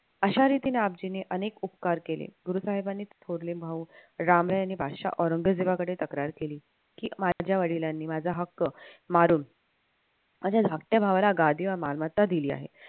अशा रीतीने आबजीनी अनेक उपकार केले. गुरुसाहेबांचे थोरले भाऊ रामराय यांनी बादशाह औरंगजेबाकडे तक्रार केली कि माझ्या वडिलांनी माझा हक्क मारून माझ्या धाकट्या भावाला गादी व मालमत्ता दिलेली आहे.